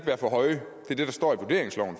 være for høje det står